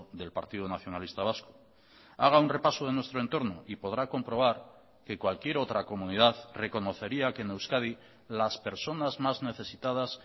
del partido nacionalista vasco haga un repaso de nuestro entorno y podrá comprobar que cualquier otra comunidad reconocería que en euskadi las personas más necesitadas